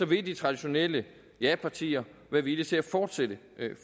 vil de traditionelle japartier være villige til at fortsætte